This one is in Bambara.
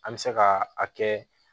An bɛ se ka a kɛ